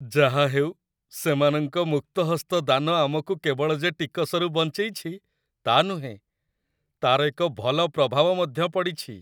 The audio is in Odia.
ଯାହାହେଉ, ସେମାନଙ୍କ ମୁକ୍ତହସ୍ତ ଦାନ ଆମକୁ କେବଳ ଯେ ଟିକସରୁ ବଞ୍ଚେଇଛି ତା' ନୁହେଁ, ତା'ର ଏକ ଭଲ ପ୍ରଭାବ ମଧ୍ୟ ପଡ଼ିଛି !